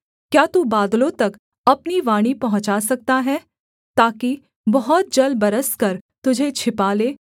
क्या तू बादलों तक अपनी वाणी पहुँचा सकता है ताकि बहुत जल बरस कर तुझे छिपा ले